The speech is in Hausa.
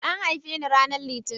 An haife ni ranar Litinin.